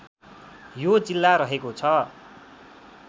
यो जिल्ला रहेको छ